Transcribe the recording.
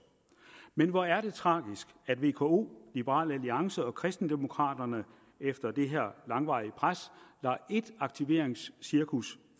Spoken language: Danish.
men hvor er det tragisk at vko liberal alliance og kristendemokraterne efter det her langvarige pres lader et aktiveringscirkus